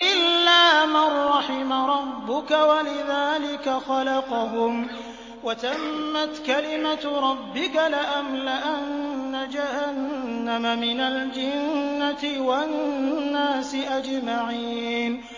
إِلَّا مَن رَّحِمَ رَبُّكَ ۚ وَلِذَٰلِكَ خَلَقَهُمْ ۗ وَتَمَّتْ كَلِمَةُ رَبِّكَ لَأَمْلَأَنَّ جَهَنَّمَ مِنَ الْجِنَّةِ وَالنَّاسِ أَجْمَعِينَ